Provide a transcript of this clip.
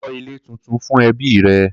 Kó̩ ilé tuntun fún ẹbí rẹ!